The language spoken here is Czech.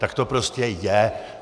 Tak to prostě je.